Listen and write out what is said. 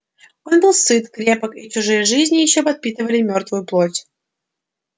он был сыт крепок и чужие жизни ещё подпитывали мёртвую плоть